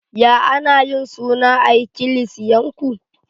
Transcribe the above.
Ya ana yin suna a'ikilisiyan ku?